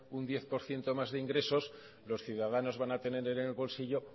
un diez por ciento más de ingresos los ciudadanos van a tener en el bolsillo